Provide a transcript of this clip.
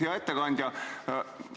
Hea ettekandja!